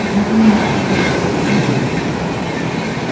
nokni nokkingo lait rangkoba teng·ate donenga.